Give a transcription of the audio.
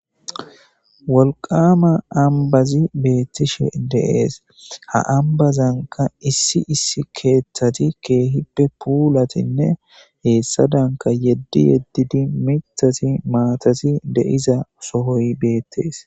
Wolqama ambazi betishe dees ha ambazanka issi issi kethati kehipe pulatinne hesadanka yedi yedidi mitati matati de'za sohoy betes.